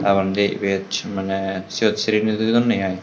taporendi ebet mane seyot siri neje donde ai.